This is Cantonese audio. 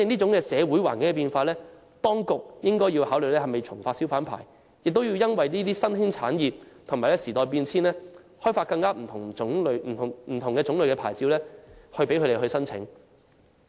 因應社會環境變化，當局是否應該考慮重新發出小販牌照，並且因應新興產業和時代變遷，提供更多不同類型的牌照呢？